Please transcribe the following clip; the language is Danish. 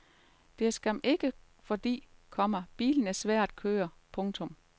Det er skam ikke fordi, komma bilen er svær at køre. punktum